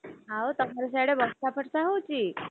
ଆଉ ତମର ସିଆଡେ ବର୍ଷା ଫର୍ଷା ହଉଛି?